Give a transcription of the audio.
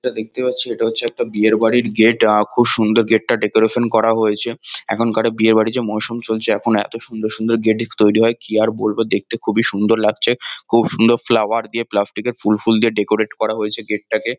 যেটা দেখতে পাচ্ছি এটা হছে একটা বিয়ের বাড়ির গেট । আ খুব সুন্দর গেট -টা ডেকোরেশন করা হয়েছে । এখন কারে বিয়েবাড়ির যে মরশুম চলছে এখন এতো সুন্দর সুন্দর গেটেক্স তৈরি হয় কি আর বলবো দেখতে খুবই সুন্দর লাগছে খুব সুন্দর ফ্লাওয়ার দিয়ে প্লাস্টিক -এর ফুল ফুল দিয়ে ডেকোরেট করা হয়েছে গেট -টাকে।